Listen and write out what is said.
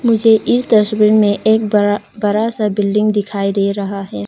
मुझे इस तस्वीर में एक बड़ा बड़ा सा बिल्डिंग दिखाई दे रहा है।